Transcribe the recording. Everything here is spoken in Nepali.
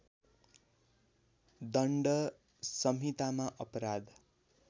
दण्ड संहितामा अपराध